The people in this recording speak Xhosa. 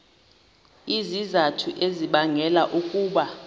izizathu ezibangela ukuba